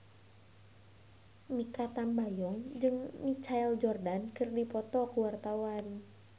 Mikha Tambayong jeung Michael Jordan keur dipoto ku wartawan